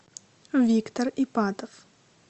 виктор ипатов